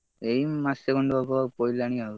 ଏଇ ମାସେ ଖଣ୍ଡେ ହବ ପାଇଲାଣି ଆଉ।